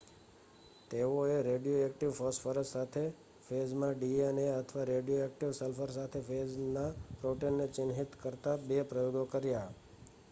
તેઓએ radioactive phosphorus સાથે ફેજમાં ડીએનએ અથવા રેડિયોએક્ટિવ સલ્ફર સાથે ફેજના પ્રોટીનને ચિહ્નિત કરતા 2 પ્રયોગો કર્યા